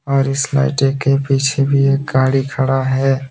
और इस लाइटें के पीछे भी एक गाड़ी खड़ा है।